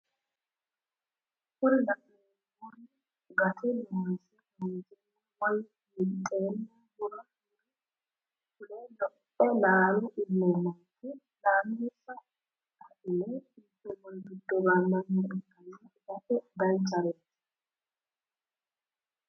Kuri la'neemori gate loonse kaanseenna woy winxeenna mure fule lophe laale illeenanke laalonsa adhine inteemori giddo gaamannire ikkanna itate danchareeti.